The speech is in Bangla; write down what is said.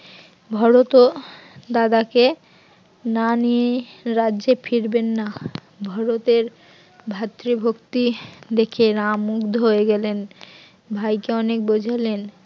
ভরত ও দাদাকে না নিয়ে রাজ্যে ফিরবেন না। ভরত এর ভ্রাতৃভক্তি দেখে রাম মুগ্ধ হয়ে গেলেন, ভাইকে অনেক বোঝালেন